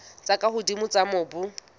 tse ka hodimo tsa mobu